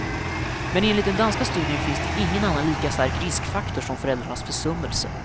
Men enligt den danska studien finns det ingen annan lika stark riskfaktor som föräldrarnas försummelse.